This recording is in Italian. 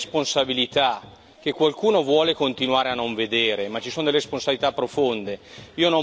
Ci sono delle responsabilità che qualcuno vuole continuare a non vedere, ci sono delle responsabilità profonde.